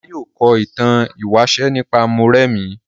Ọlá yóò kọ ìtàn ìwáṣẹ̀ nípa Mórèmí.